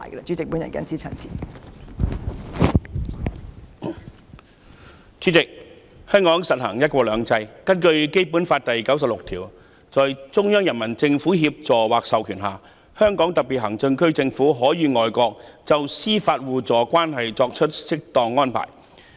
主席，香港實行"一國兩制"，根據《基本法》第九十六條，"在中央人民政府協助或授權下，香港特別行政區政府可與外國就司法互助關係作出適當安排"。